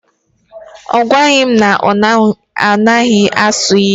Ọ gwaghi m na ọ naghị asụ ilu.